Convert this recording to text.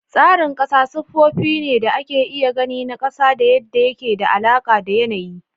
Tsarin ƙasa sifofi ne da ake iya gani na ƙasa da yadda yake da alaƙa da yanayi